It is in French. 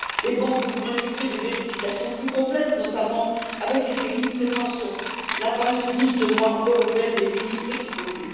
Les banques devront effectuer des vérifications plus complètes, notamment en ce qui concerne les pays présents sur la fameuse liste noire européenne des pays exposés.